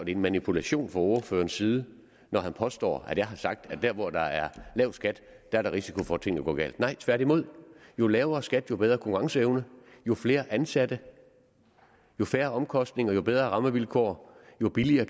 en manipulation fra ordførerens side når han påstår at jeg har sagt at der hvor der er lav skat er der risiko for at tingene går galt nej tværtimod jo lavere skatter jo bedre konkurrenceevne jo flere ansatte jo færre omkostninger jo bedre rammevilkår og jo billigere